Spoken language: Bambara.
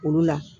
Olu la